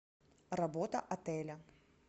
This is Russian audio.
работа отеля